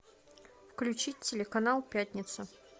включить телеканал пятница